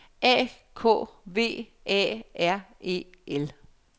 A K V A R E L